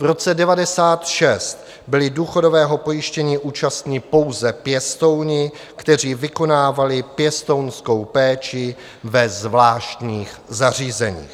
V roce 1996 byli důchodového pojištění účastni pouze pěstouni, kteří vykonávali pěstounskou péči ve zvláštních zařízeních.